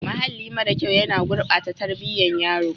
Mahalli mara kyau yana gurbata tarbiyyar yaro.